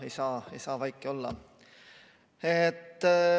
Aga ei saa vaiki olla.